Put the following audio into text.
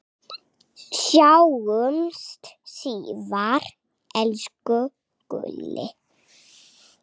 Sjáumst síðar, elsku Gulli.